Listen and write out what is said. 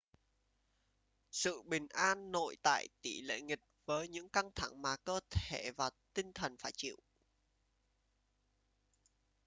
sự bình an nội tại tỷ lệ nghịch với những căng thẳng mà cơ thể và tinh thần phải chịu